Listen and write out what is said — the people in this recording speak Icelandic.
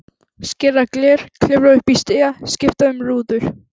Skera gler, klifra upp í stiga, skipta um rúður.